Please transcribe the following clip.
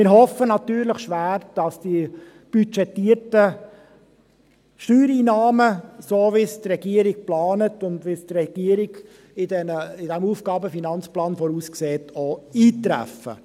Wir hoffen natürlich schwer, dass die budgetierten Steuereinnahmen, so wie die Regierung es plant und wie die Regierung es im AFP voraussieht, auch eintreffen werden.